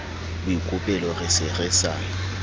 boikopelo re se re sa